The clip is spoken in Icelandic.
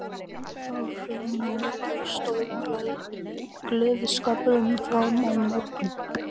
Þar var fjölmenni mikið og stóð gleðskapurinn fram á morgun.